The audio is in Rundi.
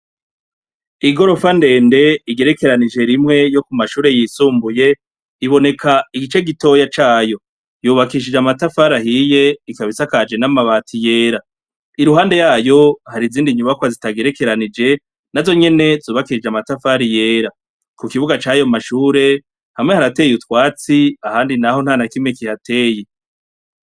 Igorofa ndend' igerekeranije rimwe ryo ku mashure y' isumbuye, ibonek' igice gitoya cayo, yubakishij' amatafar'ahiy' ikab' isakajwe n' amabati yera, iruhande yayo har' izind' inyubako zitagerekeranije nazo nyene zubakishij' amatafar'ahiye, ku kibuga cayo mashure hamwe haratey' utwats' ahandi naho ntanakimwe kihateye.